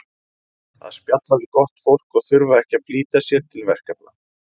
að spjalla við gott fólk og þurfa ekki að flýta sér til verkefna